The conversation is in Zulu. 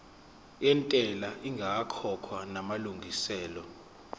yentela ingakakhokhwa namalungiselo